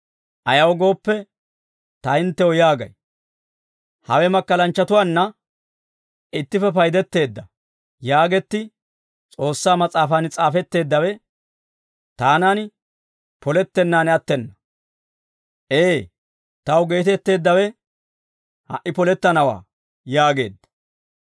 Ayaw gooppe ta hinttew yaagay, ‹Hawe makkalanchchatunna ittippe paydetteedda› yaagetti S'oossaa Mas'aafan s'aafetteeddawe, taanan polettennaan attena. Ee, taw geetetteeddawe ha"i polettanawaa» yaageedda.